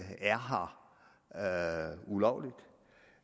er her ulovligt